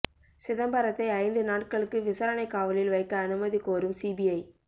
சிதம்பரத்தை ஐந்து நாட்களுக்கு விசாரணைக் காவலில் வைக்க அனுமதி கோரும் சிபிஐ